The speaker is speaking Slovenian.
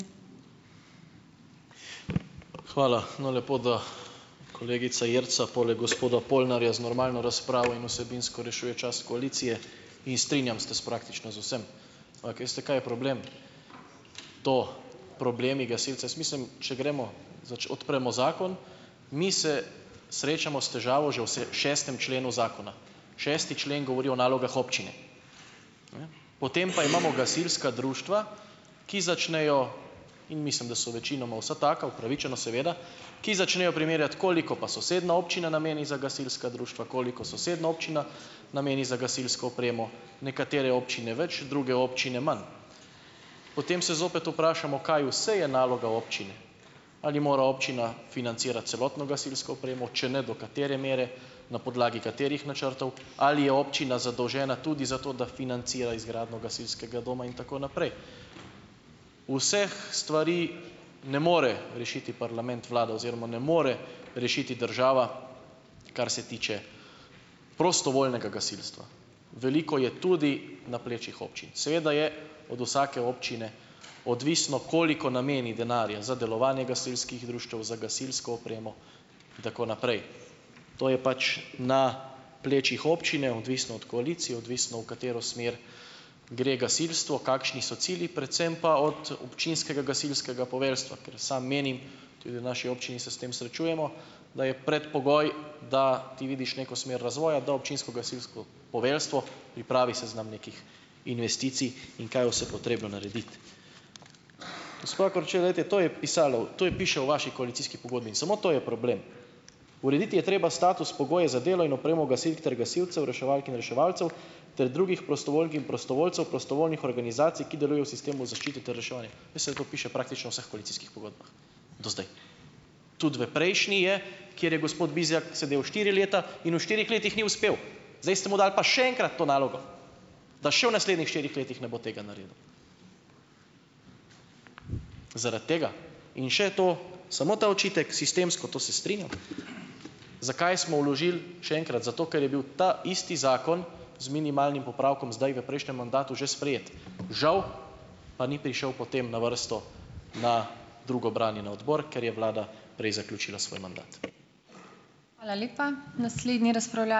Hvala. No, lepo, da kolegica Jerca poleg gospoda Polnarja z normalno razpravo in vsebinsko rešuje čas koalicije. In strinjam se s praktično z vsem. Ampak veste, kaj je problem, to, problemi gasilcev? Jaz mislim, če gremo, odpremo zakon, mi se srečamo s težavo že v šestem členu zakona. Šesti člen govori o nalogah občine. Potem pa imamo gasilska društva, ki začnejo in mislim, da so večinoma vsa taka, upravičeno, seveda ki začnejo primerjati, koliko pa sosednja občina nameni za gasilska društva, koliko sosednja občina nameni za gasilsko opremo. Nekatere občine več, druge občine manj. Potem se zopet vprašamo, kaj vse je naloga občine. Ali mora občina financirati celotno gasilsko opremo? Če ne, do katere mere? Na podlagi katerih načrtov? Ali je občina zadolžena tudi za to, da financira izgradnjo gasilskega doma in tako naprej. Vseh stvari ne more rešiti parlament, vlada oziroma ne more rešiti država, kar se tiče prostovoljnega gasilstva. Veliko je tudi na plečih občin. Seveda je od vsake občine odvisno, koliko nameni denarja za delovanje gasilskih društev, za gasilsko opremo in tako naprej. To je pač na plečih občine, odvisno od koalicije, odvisno, v katero smer gre gasilstvo, kakšni so cilji, predvsem pa od občinskega gasilskega poveljstva. Ker sam menim, tudi v naši občini se s tem srečujemo, da je predpogoj, da ti vidiš neko smer razvoja, da občinsko gasilsko poveljstvo pripravi seznam nekih investicij in kaj vse potrebno narediti. To je pisalo. To je piše v vaši koalicijski pogodbi. In samo to je problem. Urediti je treba status, pogoje za delo in opremo gasilk ter gasilcev, reševalk in reševalcev ter drugih prostovoljk in prostovoljcev, prostovoljnih organizacij, ki delujejo v sistemu zaščite ter reševanja. Veste, da to piše praktično vseh koalicijskih pogodbah. Do zdaj. Tudi v prejšnji je. Kjer je gospod Bizjak sedel štiri leta. In v štirih letih ni uspel. Zdaj ste mu dali pa še enkrat to nalogo. Da še v naslednjih štirih letih ne bo tega naredil. Zaradi tega. In še to samo ta očitek. Sistemsko, to se strinjam. Zakaj smo vložili še enkrat, zato ker je bil taisti zakon z minimalnim popravkom zdaj v prejšnjem mandatu že sprejet. Žal pa ni prišel potem na vrsto na drugo branje na odbor, ker je vlada prej zaključila svoj mandat.